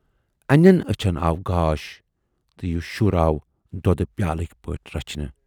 اَنٮ۪ن ٲچھَن آو گاش تہٕ یہِ شُر آو دۅدٕ پیالٕکۍ پٲٹھۍ رَچھنہٕ۔